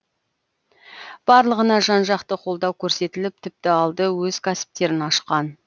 барлығына жан жақты қолдау көрсетіліп тіпті алды өз кәсіптерін ашқан